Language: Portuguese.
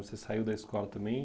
Você saiu da escola também.